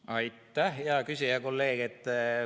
Aitäh, hea küsija ja kolleeg!